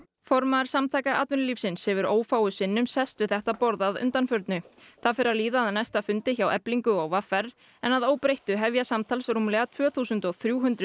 formaður Samtaka atvinnulífsins hefur ófáum sinnum sest við þetta borð að undanförnu það fer að líða að næsta fundi hjá Eflingu og v r en að óbreyttu hefja samtals rúmlega tvö þúsund og þrjú hundruð